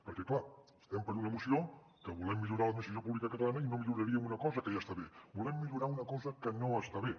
perquè clar estem per una moció amb què volem millorar l’administració pública catalana i no milloraríem una cosa que ja està bé volem millorar una cosa que no està bé